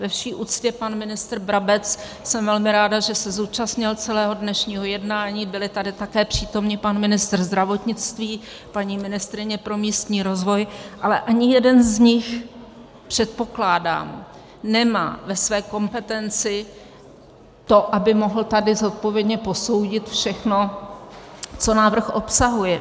Ve vší úctě, pan ministr Brabec, jsem velmi ráda, že se zúčastnil celého dnešního jednání, byli tady také přítomni pan ministr zdravotnictví, paní ministryně pro místní rozvoj, ale ani jeden z nich, předpokládám, nemá ve své kompetenci to, aby mohl tady zodpovědně posoudit všechno, co návrh obsahuje.